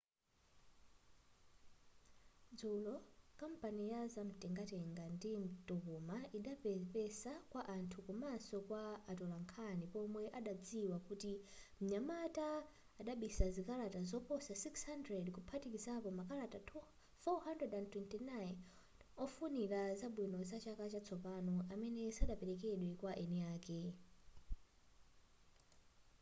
dzulo kampani ya zamtengatenga ndi mtokoma idapepesa kwa anthu komaso kwa atolankhani pomwe adadziwa kuti mnyamata adabisa zikalata zoposa 600 kuphatikizapo makalata 429 ofunirana zabwino za chaka chatsopano amene sanaperekedwe kwa eni ake